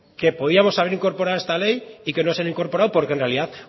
que podíamos haber incorporado a esta ley y que no se han incorporado porque en realidad